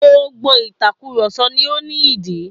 Gbogbo ìtakùròsọ ni ó ní ìdí